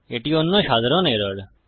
এটি অন্য সাধারণ এরর